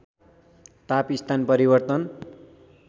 ताप स्थान परिवर्तन